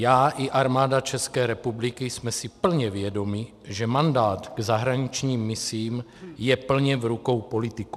Já i Armáda České republiky jsme si plně vědomi, že mandát k zahraničním misím je plně v rukou politiků.